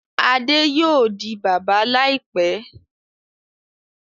Adé yóò di bàbá láìpẹ́.